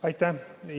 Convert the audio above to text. Aitäh!